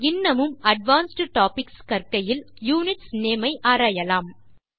இன்னமும் advanced topics கற்கையில் units name ஐ ஆராயலாம்